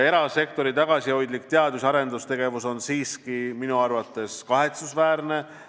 Erasektori tagasihoidlik teadus- ja arendustegevus on minu arvates kahetsusväärne.